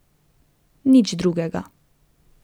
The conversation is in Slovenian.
Nič drugega.